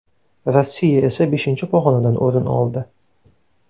Rossiya esa beshinchi pog‘onadan o‘rin oldi.